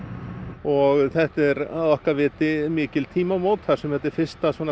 og þetta er að okkar viti mikil tímamót þar sem þetta er fyrsta